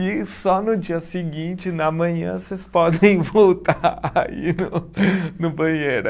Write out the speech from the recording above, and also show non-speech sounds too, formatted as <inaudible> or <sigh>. E só no dia seguinte, na manhã, vocês podem voltar <laughs> a ir no banheiro.